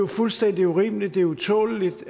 fuldstændig urimeligt det er utåleligt